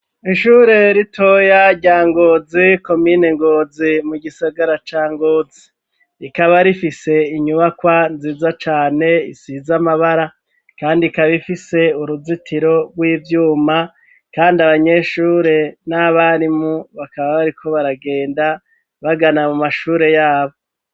Ishuri ritoya rya Ngozi komine Ngozi mu gisagara ca Ngozi. Rikaba rifise inyubakwa nziza cane isize amabara kandi ikaba ifise uruzitiro rw'ivyuma, kandi abanyeshure n'abarimu bakaba bariko baragenda bagana mu mashure yabo.